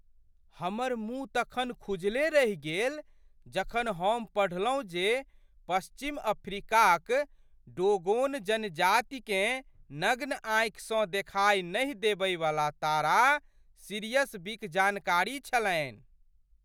हमर मुँह तखन खुजले रहि गेल जखन हम पढ़लहुँ जे पश्चिम अफ्रीकाक डोगोन जनजातिकेँ नग्न आँखिसँ देखाइ नहि देबयवला तारा सिरियस बीक जानकारी छलनि ।